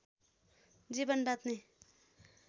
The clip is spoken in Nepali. जीवन बाँच्ने